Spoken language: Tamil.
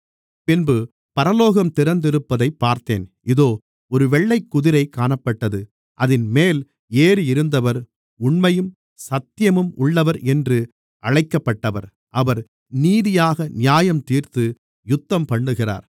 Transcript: பின்பு பரலோகம் திறந்திருப்பதைப் பார்த்தேன் இதோ ஒரு வெள்ளைக்குதிரை காணப்பட்டது அதின்மேல் ஏறியிருந்தவர் உண்மையும் சத்தியமும் உள்ளவர் என்று அழைக்கப்பட்டவர் அவர் நீதியாக நியாயந்தீர்த்து யுத்தம்பண்ணுகிறார்